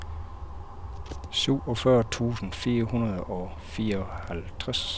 syvogfyrre tusind fire hundrede og fireoghalvtreds